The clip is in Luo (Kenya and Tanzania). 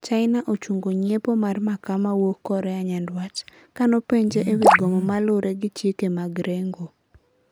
China ochungo nyiepo mar makaa mawuok Korea Nyanduat. Kanopenje ewi gomo malure gi chike mag rengo